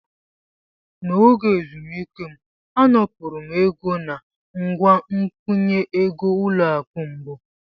N'oge ezumike m, anapụrụ m ego nangwa ngụnye egoỤlọakụ Mbu.